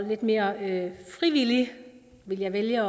lidt mere frivillig vil jeg vælge